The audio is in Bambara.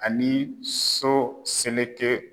Ani so seleke